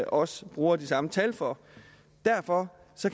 også bruger de samme tal for derfor